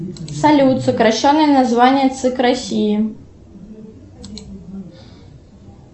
салют сокращенное название цик россии